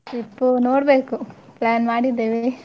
Trip ನೋಡ್ಬೇಕು plan ಮಾಡಿದ್ದೇವೆ.